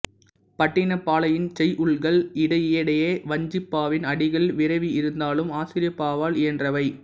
பட்டினப்பாலையின் செய்யுள்கள் இடையிடையே வஞ்சிப்பாவின் அடிகள் விரவி இருந்தாலும் ஆசிரியப்பாவால் இயன்றவை